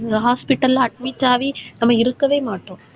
இந்த hospital ல admit ஆகி நம்ம இருக்கவே மாட்டோம்